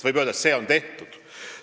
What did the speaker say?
Võib öelda, et see on tehtud.